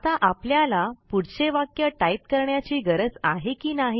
आता आपल्याला पुढचे वाक्य टाईप करण्याची गरज आहे की नाही